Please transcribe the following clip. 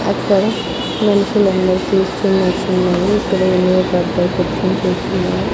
అక్కడ మనుషులందరూ చూస్తున్నట్టున్నారు ఇక్కడ ఏమో పెద్ద పెద్ద చెట్లున్నాయి.